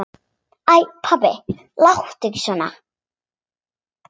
Æ pabbi, láttu ekki svona.